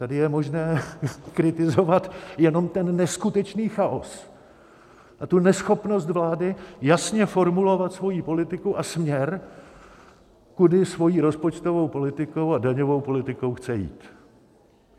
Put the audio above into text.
Tady je možné kritizovat jenom ten neskutečný chaos a tu neschopnost vlády jasně formulovat svoji politiku a směr, kudy svou rozpočtovou politikou a daňovou politikou chce jít.